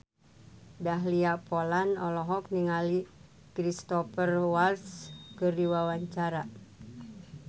Dahlia Poland olohok ningali Cristhoper Waltz keur diwawancara